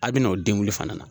A bɛ n'o denguli fana na.